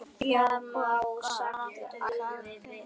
Já Hvað gladdi þig mest?